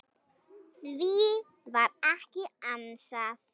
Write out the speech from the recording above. Því var ekki ansað.